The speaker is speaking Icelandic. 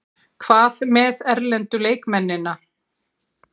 Hvað með erlendu leikmennina?